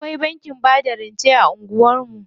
Akwai bankin bada rance a anguwan mu.